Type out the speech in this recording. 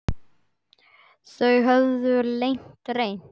Þau höfðu lengi reynt.